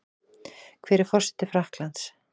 Hver er forseti Frakklands?